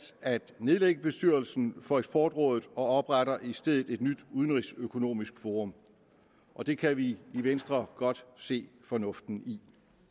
at nedlægge bestyrelsen for eksportrådet og opretter i stedet et nyt udenrigsøkonomisk forum og det kan vi i venstre godt se fornuften i